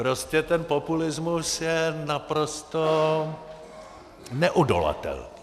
Prostě ten populismus je naprosto neodolatelný.